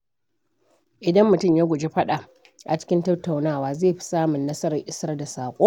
Idan mutum ya guji faɗa a cikin tattaunawa, zai fi samun nasarar isar da saƙo.